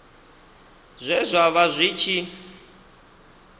zwe zwa vha zwi tshi